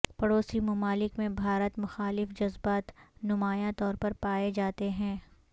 پڑوسی ممالک میں بھارت مخالف جذبات نمایاں طور پر پائے جاتے ہیں